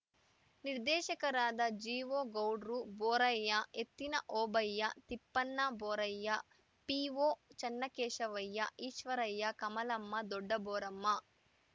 ನಿರ್ದೇಶಕರಾದ ಜಿಒಗೌಡ್ರು ಬೋರಯ್ಯ ಎತ್ತಿನ ಓಬಯ್ಯ ತಿಪ್ಪನಬೋರಯ್ಯ ಪಿಒಚನ್ನಕೇಶವಯ್ಯ ಈಶ್ವರಯ್ಯ ಕಮಲಮ್ಮ ದೊಡ್ಡಬೋರಮ್ಮ